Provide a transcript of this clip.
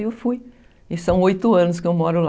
Aí eu fui, e são oito anos que eu moro lá.